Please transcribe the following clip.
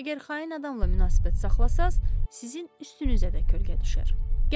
Əgər xain adamla münasibət saxlasanız, sizin üstünüzə də kölgə düşər.